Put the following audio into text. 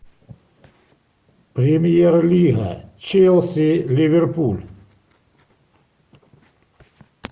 премьер лига челси ливерпуль